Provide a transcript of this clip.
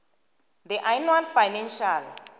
the annual financial